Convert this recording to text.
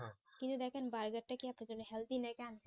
কিন্তু দেখেন বাজারটা কি এত দেবে healthy নাকি unhealdy